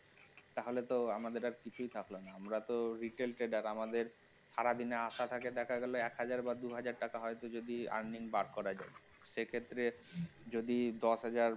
তাহলে তো আমাদের আর কিছুই থাকল না আমরা তো retail trader আমাদের সারাদিন আশা থাকে এক হাজার বা দুই হাজার টাকা হইতো যদি earning বার করা যায় সে ক্ষেত্রে যদি দশ হাজার